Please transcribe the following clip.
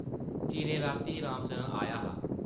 चिरें रातीं राम सरन आया हा ।